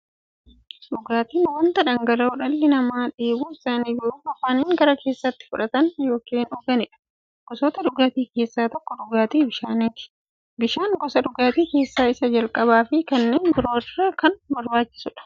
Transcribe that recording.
Dhugaatiin wanta dhangala'oo dhalli namaa dheebuu isaanii ba'uuf, afaaniin gara keessaatti fudhatan yookiin dhuganiidha. Gosoota dhugaatii keessaa tokko dhugaatii bishaaniti. Bishaan gosa dhugaatii keessaa isa jalqabaafi kanneen biroo irra kan barbaachisuudha.